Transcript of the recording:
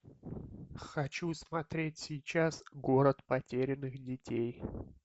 хочу смотреть сейчас город потерянных детей